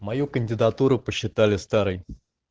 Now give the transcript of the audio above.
мою кандидатуру посчитали старой